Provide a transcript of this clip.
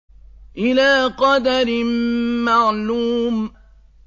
إِلَىٰ قَدَرٍ مَّعْلُومٍ